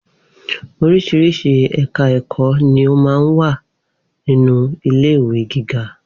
Oríṣiríṣi ẹ̀ka ẹ̀kọ́ ni ó máa ń wà nínú ilé ìwé giga